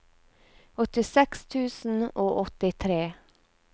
åttiseks tusen og åttitre